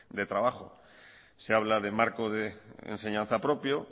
de trabajo se habla de marco de enseñanza propio